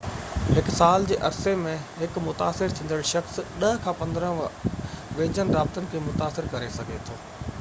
هڪ سال جي عرصي ۾ هڪ متاثر ٿيندڙ شخص 10 کان 15 ويجهن رابطن کي متاثر ڪري سگهي ٿو